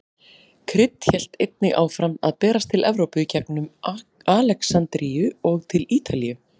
Krydd hélt einnig áfram að berast til Evrópu í gengum Alexandríu og til Ítalíu.